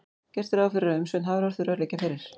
Gert er ráð fyrir að umsögn Hafró þurfi að liggja fyrir.